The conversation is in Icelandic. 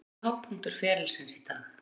Hver er hápunktur ferilsins í dag?